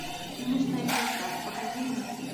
финишная черта покажи мне